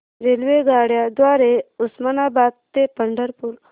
रेल्वेगाड्यां द्वारे उस्मानाबाद ते पंढरपूर